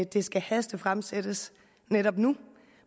det skal hastefremsættes netop nu